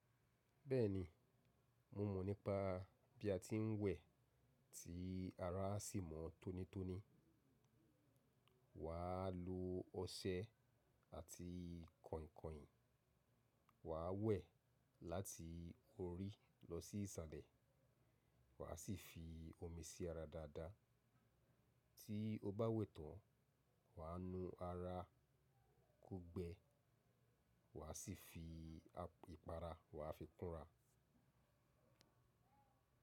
Bẹ́ẹ̀ni, mo mọ̀ nípa bí a ti ń wẹ̀ tí ara á sì mọ́ tónítóní. Wà á lo ọṣẹ àti kainkain. Wà á wẹ̀ láti orí lọ sí ìsàlẹ̀ wà á sì fi omi sí ara dáadáa. Tí o bá wẹ̀ tán, wà á nu ara kó gbẹ wà á sì fi ìpara wà á fi kúnra.